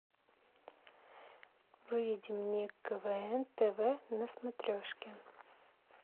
выведи мне квн тв на смотрешке